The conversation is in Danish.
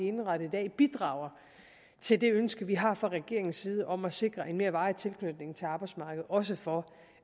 indrettet i dag bidrager til det ønske vi har fra regeringens side om at sikre en mere varig tilknytning til arbejdsmarkedet også for